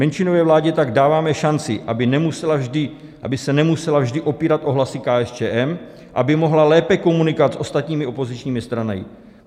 Menšinové vládě tak dáváme šanci, aby se nemusela vždy opírat o hlasy KSČM, aby mohla lépe komunikovat s ostatními opozičními stranami.